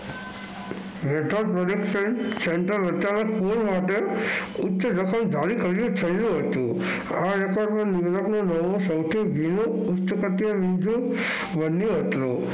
ઉંચા central અઠ્ઠાવણ